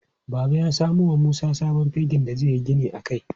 Baba ya samo wa Musa sabon fegin da zai yi gini a kai.